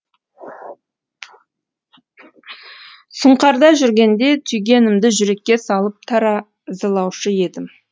сұңқарда жүргенде түйгенімді жүрекке салып таразылаушы едім